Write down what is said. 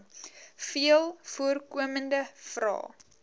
veel voorkomende vrae